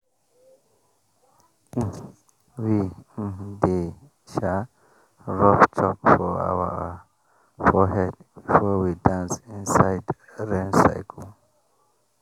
um we um dey um rub chalk for our forehead before we dance inside rain circle.